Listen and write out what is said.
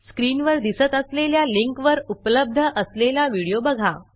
स्क्रीनवर दिसत असलेल्या लिंकवर उपलब्ध असलेला व्हिडिओ बघा